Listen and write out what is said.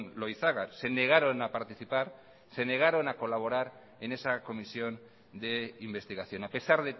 loizaga se negaron a participar se negaron a colaborar en esa comisión de investigación a pesar